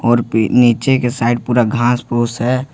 और पे नीचे के साइड पूरा घास-पुश है।